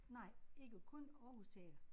Nej ikke kun Aarhus Teater